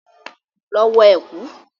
Lọ wọ ẹ̀kú!